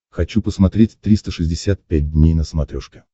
хочу посмотреть триста шестьдесят пять дней на смотрешке